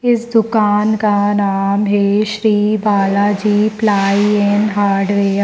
इस दुकान का नाम है Shri Balaji ply and hardware.